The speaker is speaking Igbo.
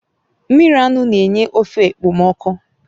Mmiri anụ na-enye ofe ekpomeekpo